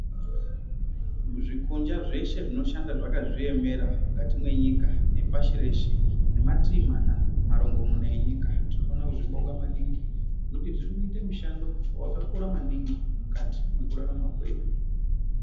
Zvikunja zveshe zvinoshanda zvakazviemera mukati mwenyika nepashi reshe, nematii mama, marongomuna enyika. Tinofana kuzvibonga maningi ngekuti zvirikuite mushando wakakura maningi mukati mwekurarama kwedu.